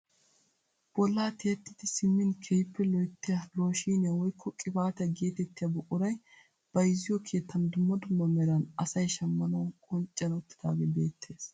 Bollaa tiyettidi simmin keehippe loyttiyaa looshiniyaa woykko qibaatiyaa gatettiyaa buquray bayzziyo keettan dumma dumma meran asay shammanawu qoncciyaan uttidagee beettees.